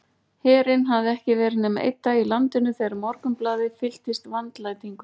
Herinn hafði ekki verið nema einn dag í landinu þegar Morgunblaðið fylltist vandlætingu.